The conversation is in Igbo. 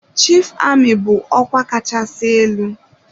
Chief Amị bụ ọkwa kachasị elu.